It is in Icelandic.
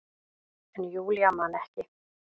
En Júlía man ekki.